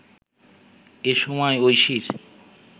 এ সময় ঐশীর